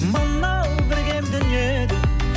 мынау бір кем дүниеде